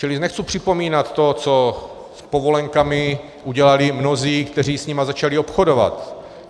Čili nechci připomínat to, co s povolenkami udělali mnozí, kteří s nimi začali obchodovat.